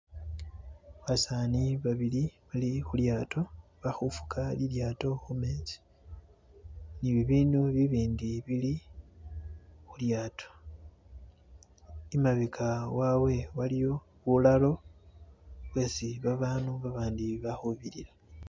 Basani babili balikulyato balikufuga lilyato kumezi ni bibintu bibindi bili kulyato . Imabega waawe waliyo bulalo bwesi babantu babandi balikubitila.